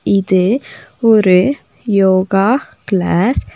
இது ஒரு யோகா கிளாஸ் .